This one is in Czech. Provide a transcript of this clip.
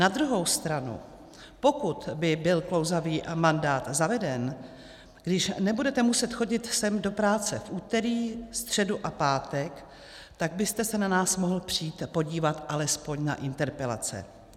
Na druhou stranu pokud by byl klouzavý mandát zaveden, když nebudete muset chodit sem do práce v úterý, středu a pátek, tak byste se na nás mohl přijít podívat alespoň na interpelace.